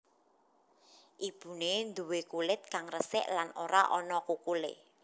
Ibune nduwe kulit kang resik lan ora ana kukulé